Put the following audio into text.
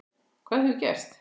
Hvað hefur gerst?